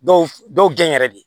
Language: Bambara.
Dɔw dɔw gɛn yɛrɛ de